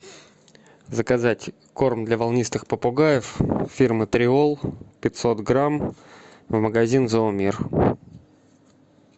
заказать корм для волнистых попугаев фирмы триол пятьсот грамм магазин зоомир